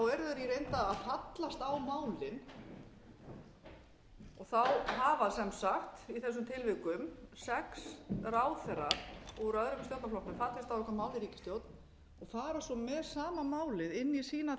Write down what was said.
reynd að fallast á málin hafa sem sagt í þessum tilvikum sex ráðherrar úr öðrum stjórnarflokknum fallist á eitthvað mál í ríkisstjórn og fara svo með sama málið inn í sína